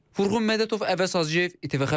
Vurğun Mədətov, Əvəz Hacıyev, İTV Xəbər.